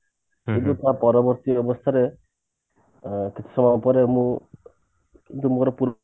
ତା ପରବର୍ତୀ ଅବସ୍ଥାରେ ଅ କିଛି ସମୟ ପରେ ମୁଁ ଯେମତି ମୋର